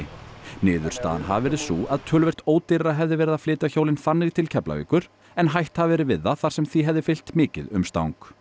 niðurstaðan hafi verið sú að töluvert ódýrara hefði verið að flytja hjólin þannig til Keflavíkur en hætt hafi verið við þar sem því hefði fylgt mikið umstang